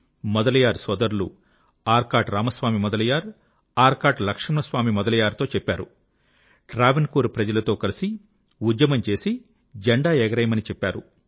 మొదలియార్ సోదరులు ఆర్కాట్ రామస్వామి మొదలియార్ మరియు ఆర్కాట్ లక్ష్మణస్వామి మొదలియార్ తో చెప్పారు ట్రావెన్ కోర్ ప్రజలతో కలిసి ఉద్యమం చేసి జెండా ఎగరేయమని చెప్పారు